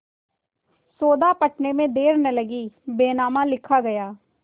सौदा पटने में देर न लगी बैनामा लिखा गया